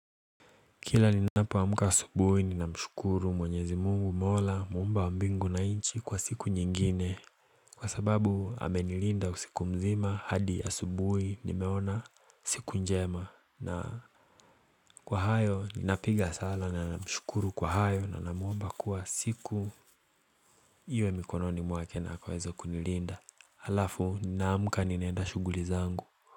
Kila ninapoamka asubuhi ninamshukuru mwenyezi Mungu Mola muumba wa mbingu na nchi kwa siku nyingine. Kwa sababu amenilinda usiku mzima hadi asubuhi nimeona siku njema na Kwa hayo ninapiga sala na namshukuru kwa hayo na namuomba kuwa siku Iwe mikononi mwake na akaweze kunilinda alafu naamuka ninaenda shughuli zangu.